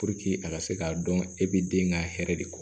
a ka se k'a dɔn e bɛ den ka hɛrɛ de kɔ